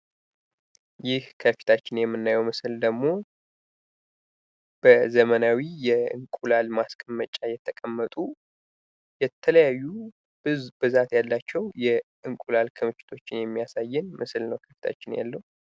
ይህ ከፊታችን የምናየው ምስል ደግሞ በዘመናዊ የእንቁላል ማስቀመጫ የተቀመጡ የተለያዩ ብዛት ያላቸው የእንቁላሎ ቅርፊቶችን የሚያሳየን ምስል ነው ከፊታችን ያለው ።